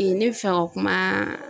ne bɛ fɛ ka kuma